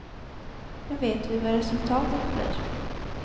Nu vet vi vad resultatet blir.